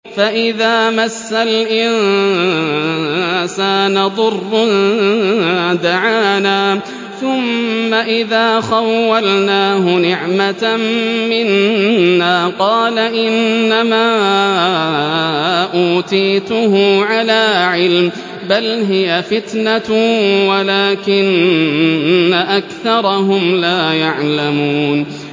فَإِذَا مَسَّ الْإِنسَانَ ضُرٌّ دَعَانَا ثُمَّ إِذَا خَوَّلْنَاهُ نِعْمَةً مِّنَّا قَالَ إِنَّمَا أُوتِيتُهُ عَلَىٰ عِلْمٍ ۚ بَلْ هِيَ فِتْنَةٌ وَلَٰكِنَّ أَكْثَرَهُمْ لَا يَعْلَمُونَ